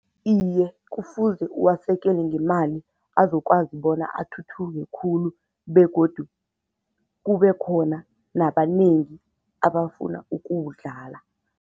Iye, kufuze uwasekele ngemali azokwazi bona athuthuke khulu begodu kube khona nabanengi abafuna ukuwudlala.